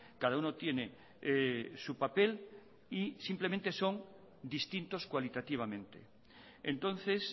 cada uno tiene su papel y simplemente son distintos cualitativamente entonces